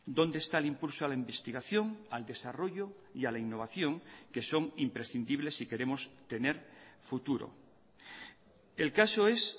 dónde está el impulso a la investigación al desarrollo y a la innovación que son imprescindibles si queremos tener futuro el caso es